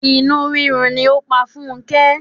Inú rírun ni ó pa Funke.